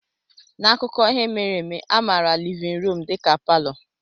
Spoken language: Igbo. N'akụkọ ihe mere eme, a maara livin ruum dịka palọ.